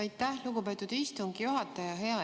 Aitäh, lugupeetud istungi juhataja!